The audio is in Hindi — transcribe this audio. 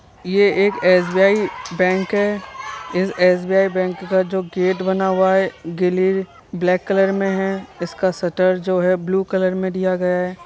ये एक एस_बी_आई बैंक हैं। इस एस_बी_आई बैंक का जो गेट बना हुआ है ग्ले ब्लैक कलर में है। इसका श्ट्टर जो है ब्लू कलर में दिया गया है।